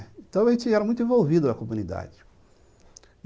Então, a gente era muito envolvido na comunidade.